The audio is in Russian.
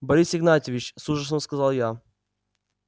борис игнатьевич с ужасом сказал я